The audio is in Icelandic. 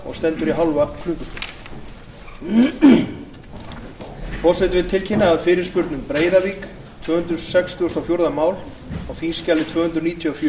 forseti vill tilkynna að fyrirspurn um breiðavík tvö hundruð sextugustu og fjórða mál á þingskjali tvö hundruð níutíu